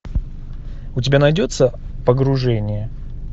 у тебя найдется погружение